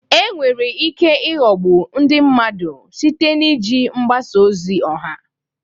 Enwere ike ịghọgbu ndị mmadụ site na iji mgbasa ozi ọha.